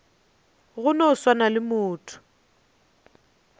go no swana le motho